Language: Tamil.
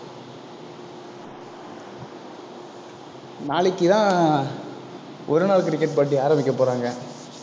நாளைக்குதான் ஒரு நாள் cricket போட்டி ஆரம்பிக்க போறாங்க.